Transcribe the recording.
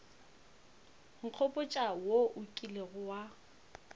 nkgopotša wo o kilego wa